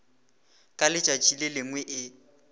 ka letšatši le lengwe e